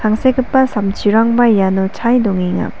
tangsekgipa samchirangba iano chae dongenga.